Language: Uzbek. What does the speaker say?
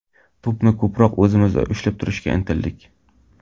To‘pni ko‘proq o‘zimizda ushlab turishga intildik.